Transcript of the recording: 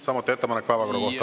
Samuti ettepanek päevakorra kohta.